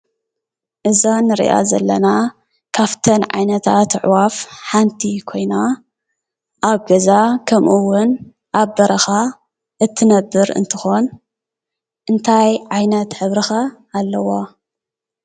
እዛ እንሪኣ ዘለና ካፍተን ዓይነታት ኣዕዋፍ ሓንቲ ኮይና ኣብ ገዛ ከምኡ እውን ኣብ በረካ እትነብር እንትኮን እንታይ ዓይነት ሕብሪ ከ ኣለዋ?